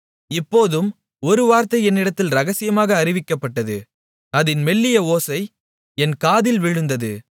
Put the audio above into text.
இப்போதும் ஒரு வார்த்தை என்னிடத்தில் இரகசியமாக அறிவிக்கப்பட்டது அதன் மெல்லிய ஓசை என் காதில் விழுந்தது